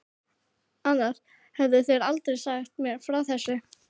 Annars hefðu þeir aldrei sagt mér frá þessu.